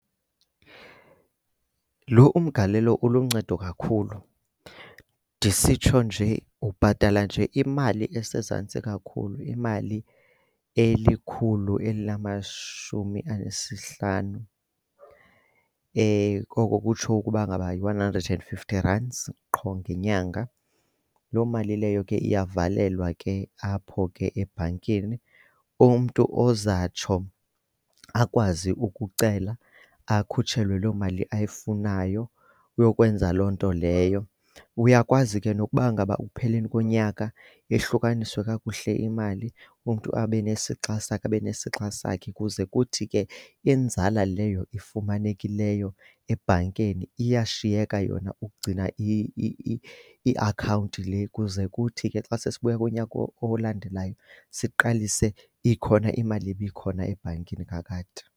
Lo umgalelo uluncedo kakhulu. Ndisitsho nje ubhatala nje imali esezantsi kakhulu, imali elikhulu elinamashumi anesihlanu. Oko kutsho ukuba ngaba yi-one hundred and fifty rands qho ngenyanga. Loo mali leyo ke iyavalelwa ke apho ke ebhankini. Umntu ozatsho akwazi ukucela akhutshelwe loo mali ayifunayo uyokwenza loo nto leyo. Uyakwazi ke nokuba ngaba ekupheleni konyaka ihlukaniswe kakuhle imali umntu abe nesixa sakhe, abe nesixa sakhe kuze kuthi ke inzala leyo ifumanekileyo ebhankeni iyashiyeka yona ukugcina iakhawunti le. Kuze kuthi ke xa sesiyibuya kunyaka olandelayo siqalise ikhona imali ibikhona ebhankini kakade.